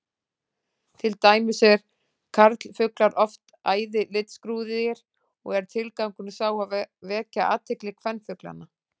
Til dæmis eru karlfuglar oft æði litskrúðugir og er tilgangurinn sá að vekja athygli kvenfuglanna.